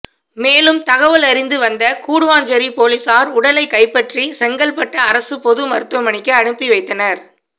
மேலும் தகவலறிந்து வந்த கூடுவாஞ்சேரி போலீசார் உடலை கைப்பற்றி செங்கல்பட்டு அரசு பொது மருத்துவமனைக்கு அனுப்பி வைத்தனர்